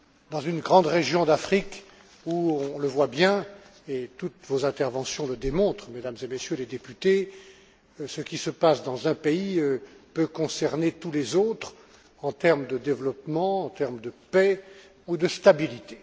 Dans cette grande région d'Afrique, on le voit bien, et toutes vos interventions le démontrent, Mesdames et Messieurs les députés, ce qui se passe dans un pays peut concerner tous les autres en termes de développement, de paix ou de stabilité.